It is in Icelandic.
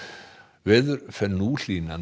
veður fer nú hlýnandi